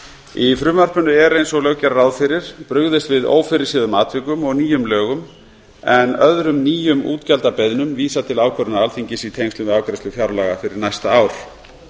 í frumvarpinu er eins og lög gera ráð fyrir brugðist við ófyrirséðum atvikum og nýjum lögum en öðrum nýjum útgjaldabeiðnum vísað til ákvörðunar alþingis í tengslum við afgreiðslu fjárlaga fyrir næsta ár